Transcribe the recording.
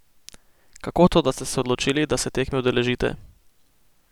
Kako to, da ste se odločili, da se tekme udeležite?